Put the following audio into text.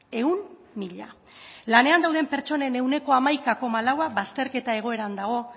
ehun mila lanean dauden pertsonen ehuneko hamaika koma laua bazterketa egoeran dago